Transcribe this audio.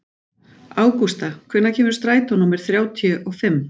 Ágústa, hvenær kemur strætó númer þrjátíu og fimm?